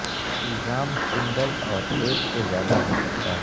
الزام سنگل اور ایک سے زیادہ ہو سکتا ہے